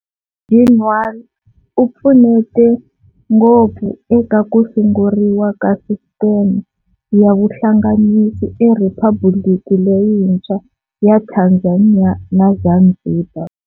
Ginwala u pfunete ngopfu eka ku sunguriwa ka sisteme ya vuhlanganisi eRiphabuliki leyintshwa ya Tanzania na Zanzibar.